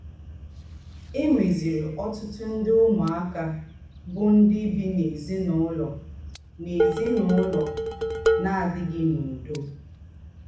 È nwézìrì ọ́tùtù ndè úmùákà bụ́ ńdị́ bì n’èzín’úlọ̀ n’èzín’úlọ̀ ná-àdị̀ghí n’údò.